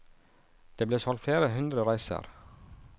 Det ble solgt flere hundre reiser.